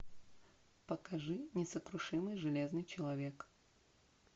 покажи несокрушимый железный человек